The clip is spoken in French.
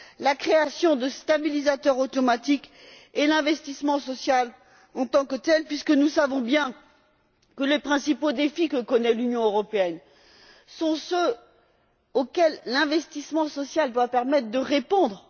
la création de stabilisateurs automatiques et l'investissement social en tant que tel, puisque nous savons bien que les principaux défis que connaît l'Union européenne sont ceux auxquels l'investissement social doit permettre de répondre.